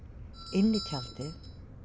inn í tjaldið